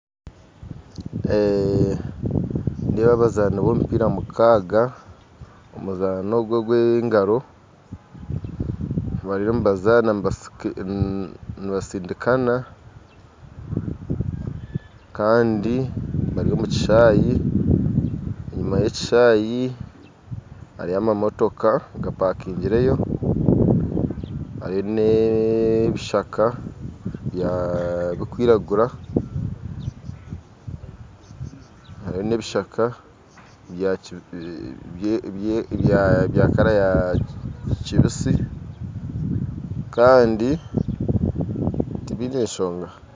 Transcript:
Nindeeba abazaani ba omupiira mukaaga omuzaano ogu gwa engaro bariyo nibazaana nibasika nibasindikana kandi bari omu kishahi enyuma ya ekishahi hariyo amamotoka gapakingireyo hariyo na ebishaka bikwiragura hariyo na ebishaka bya kara ya kibisi kandi tibiine enshonga